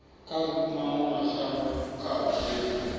kha mawe mashango kha dziwe